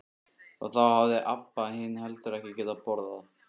Og þá hafði Abba hin heldur ekki getað borðað.